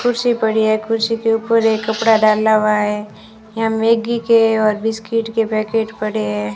कुर्सी पड़ी है कुर्सी के ऊपर एक कपड़ा डाला हुआ है यहां मैगी के और बिस्किट के पैकेट पड़े हैं।